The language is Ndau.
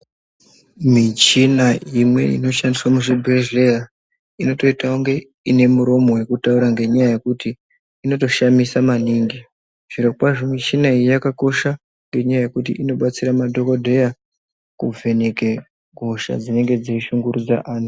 Michina imweni inoshandiswa muchibhedhlera inototita kunge ine muromo nekuti inotoshamisa maningi zviro kwazvo michina iyi yakakosha ngenyaya yekuti inodetsera madhogodheya kuvheneke hosha dzinenge dzichishungurudza vanhu.